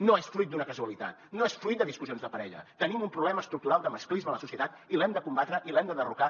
no és fruit d’una casualitat no és fruit de discussions de parella tenim un problema estructural de masclisme a la societat i l’hem de combatre i l’hem de derrocar